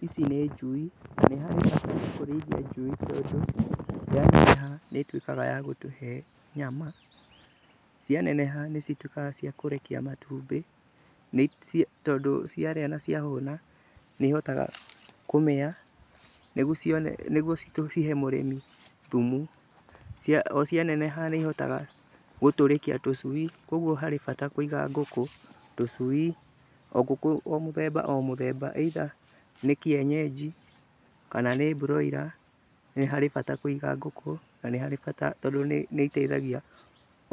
Ici nĩ njui na nĩ harĩ bata kũrĩithia njui tondũ yaneneha nĩ ĩtuĩkaga ya gũtũhe nyama, cianeneha nĩ cituĩkaga cia kũrekia matumbĩ, tondũ ciarĩa na ciahũna nĩ ihotaga kũmĩa, nĩguo cihe mũrĩmi thumu. O cianeneha nĩ ihotaga gũtũrĩkia tũcui, kũguo harĩ bata kũiga ngũkũ, tũcui, o ngũkũ o mũthemba o mũthemba, either nĩ kĩenyeji kana nĩ broiler, nĩ harĩ bata kũiga ngũkũ na nĩ harĩ bata tondũ nĩ iteithagia